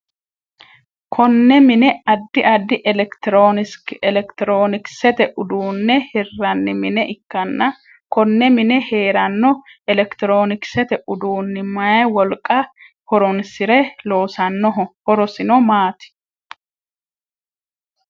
Konne mine addi addi elekitiroonikisete uduune hiranni mine ikanna Konne mine heerano elekitiroonikisete uduunni mayi wolqa horoonsire loosanoho horosino maati?